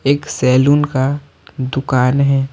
एक सैलून का दुकान है।